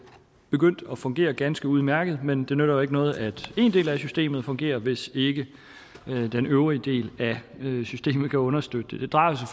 begyndt at fungere ganske udmærket men det nytter jo ikke noget at en del af systemet fungerer hvis ikke den øvrige del af systemet kan understøtte det det drejer sig